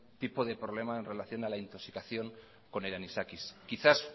tipo de problema en relación a la intoxicación con el anisakis quizás